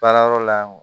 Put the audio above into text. Baarayɔrɔ la